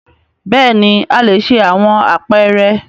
Bẹẹni a le ṣe awọn apeere